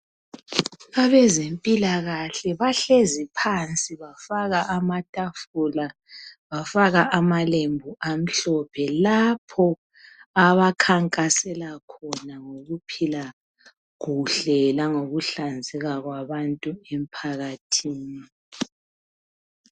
Abezempilakahle bahlezi phansi bafaka amatafula bafaka amalembu amhlophe lapho abakhankasela khona ngokuphila kuhle langokuhlanzeka kwabantu emphakathini.